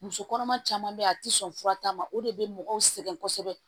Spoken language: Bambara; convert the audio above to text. Muso kɔnɔma caman be yen a ti sɔn fura ta ma o de bɛ mɔgɔw sɛgɛn kosɛbɛ